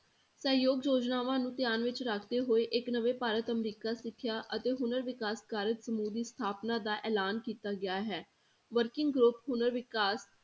ਸਹਿਯੋਗ ਯੋਜਨਾਵਾਂ ਨੂੰ ਧਿਆਨ ਵਿੱਚ ਰੱਖਦੇ ਹੋਏ ਇੱਕ ਨਵੇਂ ਭਾਰਤ ਅਮਰੀਕਾ ਸਿੱਖਿਆ ਅਤੇ ਹੁਨਰ ਵਿਕਾਸ ਕਾਰਜ ਸਮੂਹ ਦੀ ਸਥਾਪਨਾ ਦਾ ਐਲਾਨ ਕੀਤਾ ਗਿਆ ਹੈ, working group ਹੁਨਰ ਵਿਕਾਸ